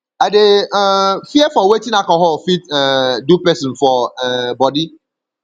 i dey um fear for wetin alcohol fit um do pesin for um bodi